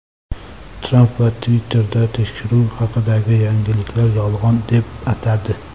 Tramp esa Twitter’da tekshiruv haqidagi yangilikni yolg‘on deb atadi.